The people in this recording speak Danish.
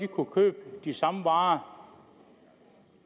kunne købe de samme varer